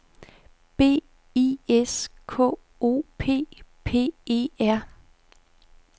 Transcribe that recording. B I S K O P P E R